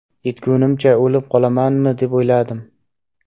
Yetgunimcha o‘lib qolamanmi deb o‘yladim.